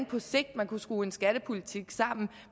på sigt kunne skrue en skattepolitik sammen